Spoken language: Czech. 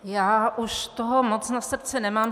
Já už toho moc na srdci nemám.